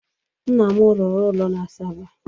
Nna m rụrụ ụlọ n'Asaba.